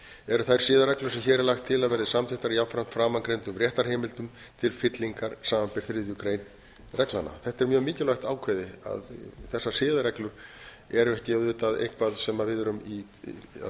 eru þær siðareglur sem hér er lagt til að verði samþykktar jafnframt framangreindum réttarheimildum til fyllingar samanber þriðju grein reglnanna þetta er mjög mikilvægt ákvæði að þessar siðareglur eru ekki auðvitað eitthvað sem við erum í